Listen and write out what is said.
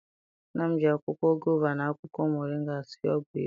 Nna m ji akwụkwọ gova na akwụkwọ moringa sie ọgwụ ịba.